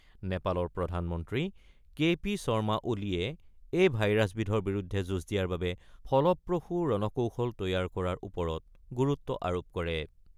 নেপালৰ প্ৰধানমন্ত্ৰী K P Sharma ওলিয়ে এই ভাইৰাছবিধৰ বিৰুদ্ধে যুঁজ দিয়াৰ বাবে ফলপ্ৰসু ৰণকৌশল তৈয়াৰ কৰাৰ ওপৰত গুৰুত্ব আৰোপ কৰে।